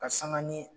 Ka sanga ni